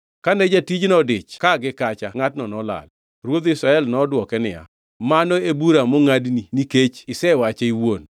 Kane jatijno odich ka gi kacha ngʼatno nolal.” Ruodh Israel nodwoke niya, “Mano e bura mongʼadni nikech isewache iwuon.”